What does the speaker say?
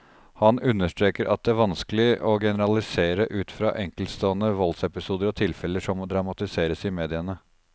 Han understreker at det vanskelig å generalisere ut fra enkeltstående voldsepisoder og tilfeller som dramatiseres i mediene.